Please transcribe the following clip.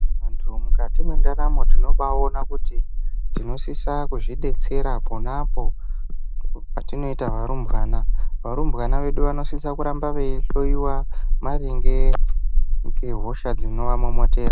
Vantu mukati mendaramo tinobaona kuti tinosisa kuzvibetsera ponapo patinoita varumbwana. Varumbwana vedu vanosisa kuramba veihloiwa maringe ngehosha dzinovamomotera.